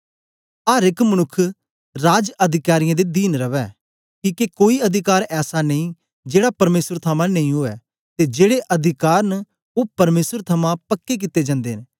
अर एक मनुक्ख राज अधिकारियें दे दीन रवै किके कोई अधिकार ऐसा नेई जेड़ा परमेसर थमां नेई उवै ते जेड़े अधिकार न ओ परमेसर थमां पक्के कित्ते जंदे न